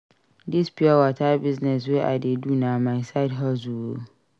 Dis pure water business wey I dey do na my side hustle o.